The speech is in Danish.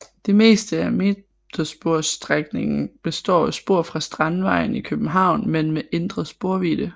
Det meste af metersporsstrækningen består af spor fra Strandvejen i København men med ændret sporvidde